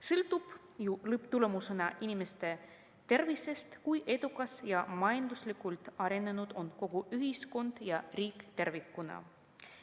Sõltub ju lõpptulemusena inimeste tervisest see, kui edukas ja majanduslikult arenenud on kogu ühiskond ja riik tervikuna.